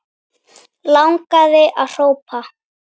Langaði að hrópa